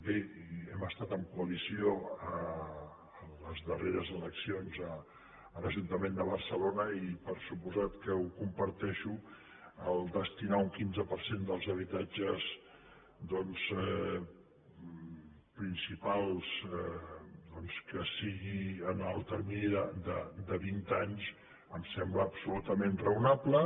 bé i hem estat en coalició en les darreres eleccions a l’ajuntament de barcelona i per descomptat que ho comparteixo destinar el quinze per cent dels habitatges principals que sigui en el termini de vint anys em sembla absolutament raonable